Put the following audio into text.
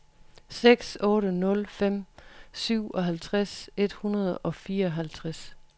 seks otte nul fem syvoghalvtreds et hundrede og fireoghalvtreds